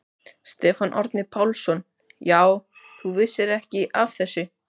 Stefán Árni Pálsson: Já, þú vissir ekki af þessu?